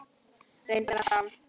Reyndu að fá